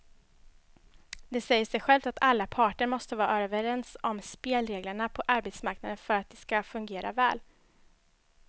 Det säger sig självt att alla parter måste vara överens om spelreglerna på arbetsmarknaden för att de ska fungera väl.